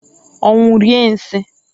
Onwu rie nsiǃ